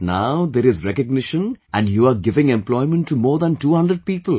But now there is recognition and you are giving employment to more than 200 people